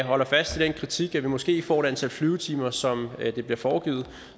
holder fast i den kritik at vi måske får et antal flyvetimer som det bliver foregivet